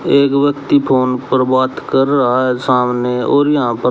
एक व्यक्ति फोन पर बात कर रहा है सामने और यहां पर--